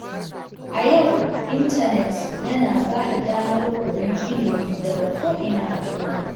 A yau, intanet yana ba da damar koyon ilimi daga ko’ina a duniya.